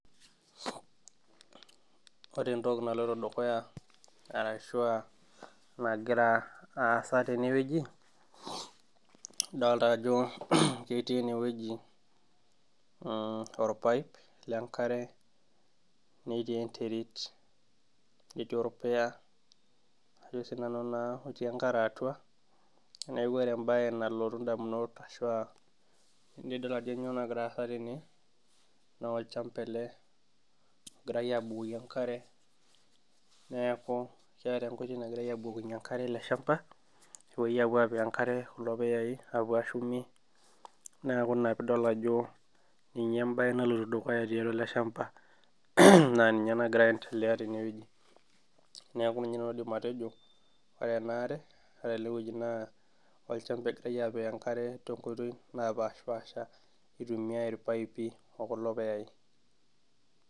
Ore entoki naloito dukuya arashua enagira aasa tenewueji idolta ajo ketii enewueji mh orpaip lenkare netii enterit netii orpuya ajo sinanu naa otii enkare atua neku ore embaye nalotu indamunot ashua enidol ajo nyoo nagira aasa tene naa orchamba ele ogirae abukoki enkare neeku keeta enkoitoi nagirae abukokinyie enkare ele shamba nepuoi apuo apik enkare kulo puyai apuo ashumie neku ina piidol ajo ninye embaye naloito dukuya tiatua ele shamba naa ninye nagira aendeleya tenewueji neku ninye nanu aidim atejo ore ena are ore elewueji naa olchamba egirae apik tonkoitoi napashipasha itumiae irpaipi okulo puyai.